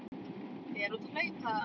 Fer út að hlaupa.